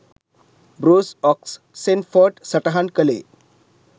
Bruce Oxenford සටහන් කළේ